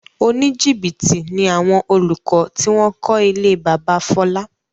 Oníjìbìtì ni àwọn olùkọ́ tí wọ́n kọ ilé bábà Fọlá.